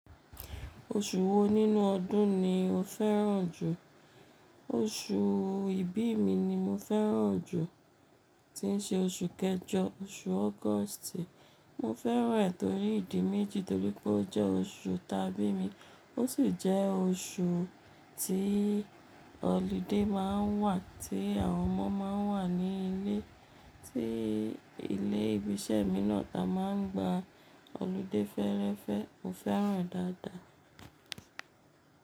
Oṣù wo nínú ọdún ni o fẹ́ràn jù? Oṣù ìbí mi ni mo fẹ́ràn jù, tí ń ṣe oṣù kẹjọ, oṣù August. Mo fẹ́ràn ẹ́ torí ìdí méjì, torí pé ó jẹ́ oṣù ìtàbí mi, ó sì jẹ́ oṣù tí holiday má ń wà, tí àwọn ọmọ má ń wà ní ilé, tí ilé ìbi ṣẹ̀ mí náà ta má ń gba holiday fẹ́ẹ́rẹ́fẹ́. Mo fẹ́ràn án dáadáa.